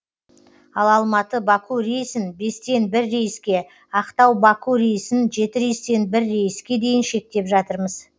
ал алматы баку рейсін бестен бір рейске ақтау баку рейсін жеті рейстен бір рейске дейін шектеп жатырмыз